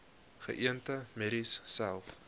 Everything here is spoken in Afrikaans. geënte merries selfs